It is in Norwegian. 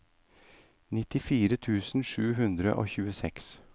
nittifire tusen sju hundre og tjueseks